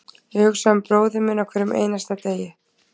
Ég hugsa um bróðir minn á hverjum einasta degi.